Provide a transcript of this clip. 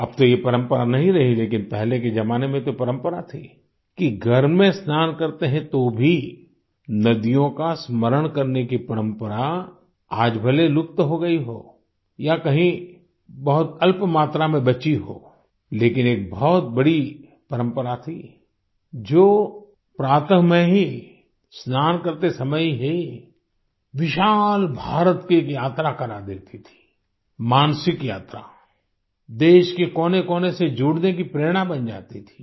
अब तो ये परंपरा नहीं रही लेकिन पहले के जमाने में तो परंपरा थी कि घर में स्नान करते हैं तो भी नदियों का स्मरण करने की परंपरा आज भले लुप्त हो गई हो या कहीं बहुत अल्पमात्रा में बची हो लेकिन एक बहुत बड़ी परंपरा थी जो प्रातः में ही स्नान करते समय ही विशाल भारत की एक यात्रा करा देती थी मानसिक यात्रा देश के कोनेकोने से जुड़ने की प्रेरणा बन जाती थी